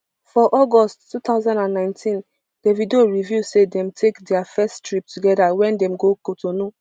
for august two thousand and nineteen davido reveal say dem take dia first trip togeda wen dem go cotonou